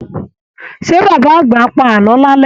Ṣé baba àgbà á pa àlọ́ lálẹ́?